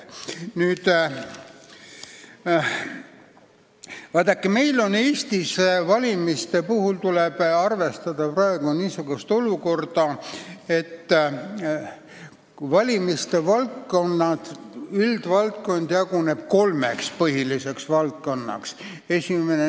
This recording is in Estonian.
Eestis jaguneb valimiste üldvaldkond kolmeks põhiliseks alamvaldkonnaks.